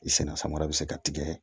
I senna samara bɛ se ka tigɛ